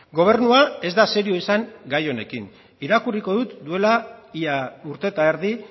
gobernua ez da serio izan gai honekin irakurriko dut duela ia urte eta erdi